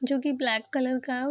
जो की black colour का --